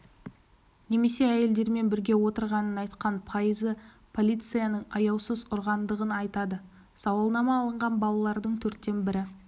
немесе әйелдермен бірге отырғанын айтқан пайызы полицияның аяусыз ұрғандығын айтады сауалнама алынған балалардың төрттен бірі